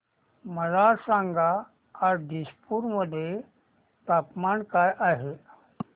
मला सांगा आज दिसपूर मध्ये तापमान काय आहे